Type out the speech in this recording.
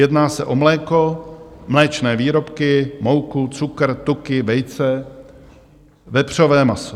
Jedná se o mléko, mléčné výrobky, mouku, cukr, tuky, vejce, vepřové maso.